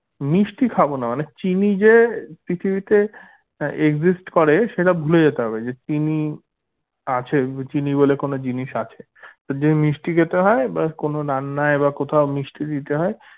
মিষ্টি খাবোনা মানে চিনি যে পৃথিবীতে আহ exist করে সেটা ভুলে যেতে হবে যে চিনি আছে চিনি বলে কোনো জিনিস আছে যদি মিষ্টি খেতে হয় বা কোনো রান্নায় বা কোথাও মিষ্টি দিতে হয়